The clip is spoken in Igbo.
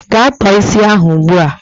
Gaa tọọ isi ahụ ugbua!